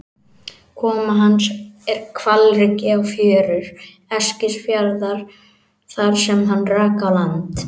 Koma hans er hvalreki á fjörur Eskifjarðar þar sem hann rak á land.